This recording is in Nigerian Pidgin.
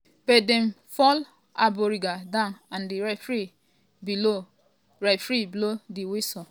but dem fall omborenga down and di referee blow referee blow di whistle.